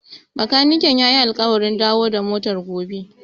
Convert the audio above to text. Bakaniken ya yi alƙawarin dawo da motar gobe.